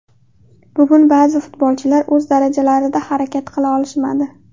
Bugun ba’zi futbolchilar o‘z darajalarida harakat qila olishmadi.